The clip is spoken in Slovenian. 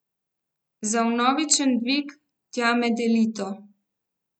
Za vnovičen dvig, tja med elito.